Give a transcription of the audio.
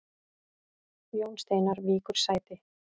Jón Steinar víkur sæti